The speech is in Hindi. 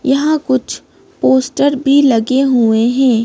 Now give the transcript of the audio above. यहाँ कुछ पोस्टर भी लगे हुए हैं।